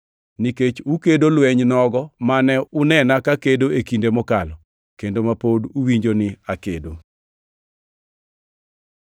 nikech ukedo lweny nogo mane unena kakedo e kinde mokalo, kendo ma pod uwinjo ni akedo.